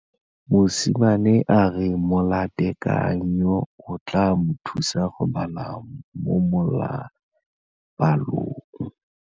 Mosimane a re molatekanyô o tla mo thusa go bala mo molapalong.